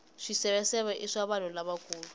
swiseveseve i swa vanhu lavakulu